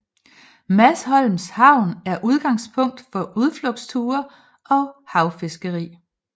Masholms havn er udgangspunkt for udflugtsture og havfiskeri